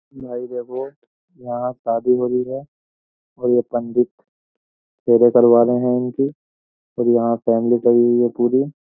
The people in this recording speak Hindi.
भाई देखो यहां शादी हो रही है और यह पंडित फेरे करवा रहे हैं इनके और यहां फैमिली खड़ी हुई है पूरी।